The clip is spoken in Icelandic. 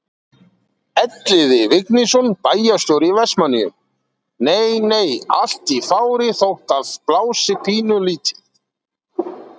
Elliði Vignisson, bæjarstjóri í Vestmannaeyjum: Nei nei, allt í fári þótt að blási pínulítið?